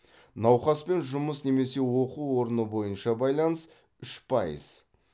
науқаспен жұмыс немесе оқу орны бойынша байланыс үш пайыз